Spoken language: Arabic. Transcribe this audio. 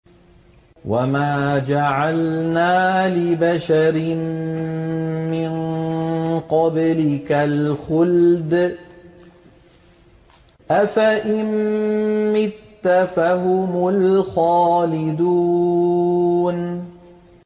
وَمَا جَعَلْنَا لِبَشَرٍ مِّن قَبْلِكَ الْخُلْدَ ۖ أَفَإِن مِّتَّ فَهُمُ الْخَالِدُونَ